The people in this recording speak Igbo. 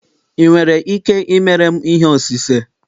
ị nwere ike ịmere m ihe osise?